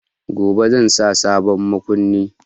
Gobe zan sa sabon makunni.